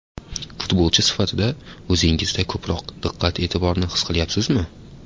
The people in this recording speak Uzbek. Futbolchi sifatida o‘zingizda ko‘proq diqqat-e’tiborni his qilyapsizmi?